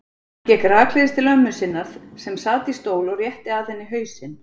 Hann gekk rakleiðis til ömmu sinnar sem sat í stól og rétti að henni hausinn.